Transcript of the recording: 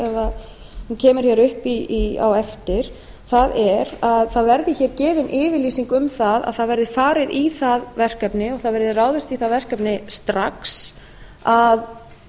hún kemur hér upp á eftir það er að það verði hér gefin yfirlýsing um að það verði farið í það verkefni og það verði ráðist í það verkefni strax að